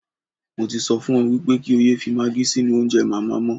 Mo ti sọ fún ọ wípé kí ó yẹ fi maagí sínú oúnjẹ màmá mọ́.